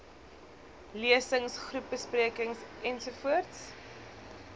lesings groepbesprekings ens